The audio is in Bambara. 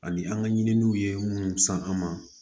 Ani an ka ɲininiw ye minnu san an ma